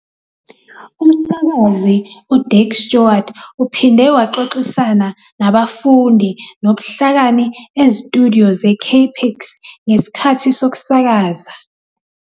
Umsakazi u- Dick Stewart uphinde waxoxisana nabafundi nobuhlakani ezitudiyo ze-KPIX ngesikhathi sokusakaza.